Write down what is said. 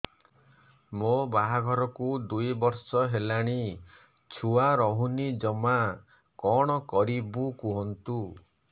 ମୋ ବାହାଘରକୁ ଦୁଇ ବର୍ଷ ହେଲାଣି ଛୁଆ ରହୁନି ଜମା କଣ କରିବୁ କୁହନ୍ତୁ